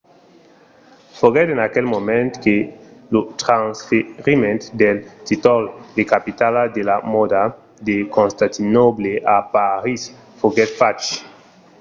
foguèt en aquel moment que lo transferiment del títol de capitala de la mòda de constantinòble a parís foguèt fach